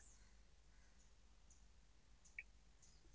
.